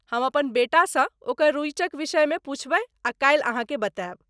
हम अपन बेटासँ ओकर रुचिक विषयमे पूछबैक आ काल्हि अहाँकेँ बतायब।